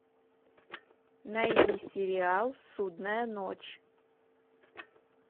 найди сериал судная ночь